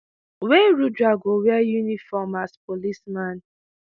wey rudra go wear uniform as policeman.